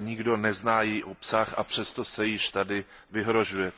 nikdo nezná její obsah a přesto se již tady vyhrožuje.